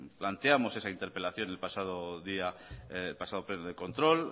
planteamos esa interpelación en el pasado pleno de control